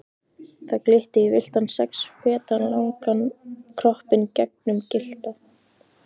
Það glitti í villtan sex feta langan kroppinn gegnum gyllta